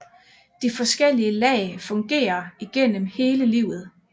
De forskellige lag fungerer igennem hele livet